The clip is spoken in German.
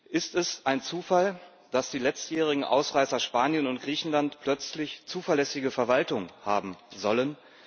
Ist es ein Zufall, dass die letztjährigen Ausreißer Spanien und Griechenland plötzlich eine zuverlässige Verwaltung haben sollen?